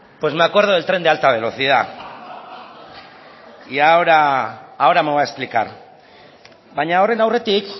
me acuerdo del tren de alta velocidad y ahora me voy a explicar baina horren aurretik